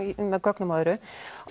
með gögnum og öðru